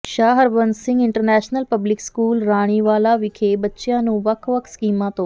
ਸ਼ਾਹ Harbans Singh international public school Raniwalah ਵਿਖੇ ਬੱਚਿਆਂ ਨੂੰ ਵੱਖ ਵੱਖ ਸਕੀਮਾਂ ਤੋਂ